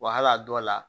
Wa hali a dɔw la